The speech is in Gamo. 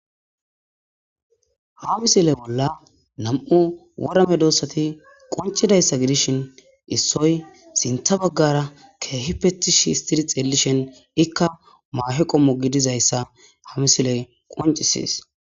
ha misile bolla nam7u wora medoossati qoncidayssa gidishin issoy sintha baggara keehippe tishi histtidi xeelishin ikka maahe qommo gidizayssa ha misiley qoncisses